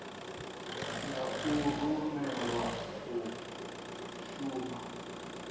ya u rumelwa u shuma